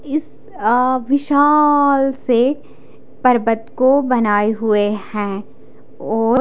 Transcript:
इस अ विशाल से पर्वत को बनाए हुए हैं और--